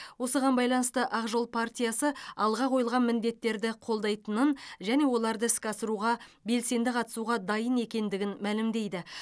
осыған байланысты ақ жол партиясы алға қойылған міндеттерді қолдайтындынын және оларды іске асыруға белсенді қатысуға дайын екендігін мәлімдейді